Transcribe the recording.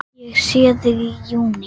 Ég sé þig í júní.